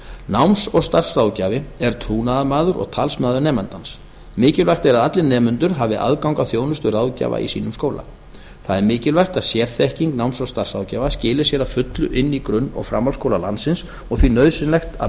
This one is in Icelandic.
náms og starfsráðgjafi er trúnaðarmaður og talsmaður nemandans mikilvægt er að allir nemendur hafi aðgang að þjónustu ráðgjafa í sínum skóla það er mikilvægt að sérþekking náms og starfsráðgjafa skili sér að fullu inn í grunn og framhaldsskóla landsins og því nauðsynlegt að